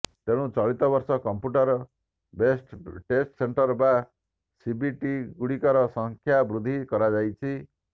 ତେଣୁ ଚଳିତ ବର୍ଷ କମ୍ପ୍ୟୁଟର ବେସଡ୍ ଟେଷ୍ଟ୍ ସେଣ୍ଟର୍ ବା ସିବିଟିଗୁଡ଼ିକର ସଂଖ୍ୟା ବୃଦ୍ଧି କରାଯାଇଛି